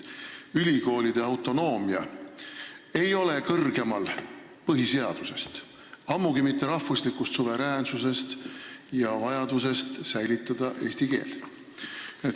Ülikoolide autonoomia ei seisa kõrgemal põhiseadusest, ammugi mitte rahvuslikust suveräänsusest ja vajadusest säilitada eesti keelt.